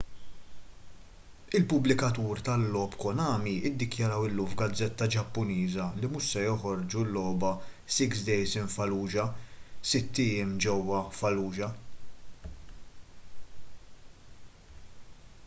il-pubblikatur tal-logħob konami ddikjaraw illum f’gazzetta ġappuniża li mhux se joħorġu l-logħba six days in fallujah” sitt ijiem ġewwa fallujah”